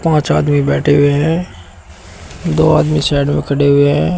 पांच आदमी बैठे हुए हैं दो आदमी साइड में खड़े हुए हैं।